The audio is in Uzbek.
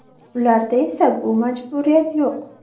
Ularda esa bu majburiyat yo‘q.